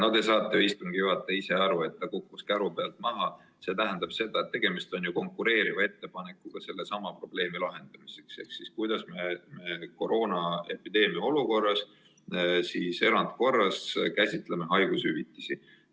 No te saate, istungi juhataja, ju ise aru, et ta kukkus käru pealt maha – see tähendab seda, et tegemist on konkureeriva ettepanekuga sellesama probleemi lahendamiseks ehk kuidas me koroonaepideemia olukorras, erandkorras, käsitleme haigushüvitisi.